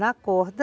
Na corda,